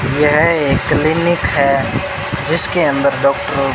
यह एक क्लीनिक है। जिसके अंदर डॉक्टर --